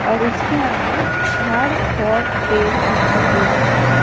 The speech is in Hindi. और उसके आगे झाड़ और पेड़ दिखाई दे रहे हैं।